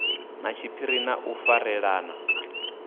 na tshiphiri na u farelana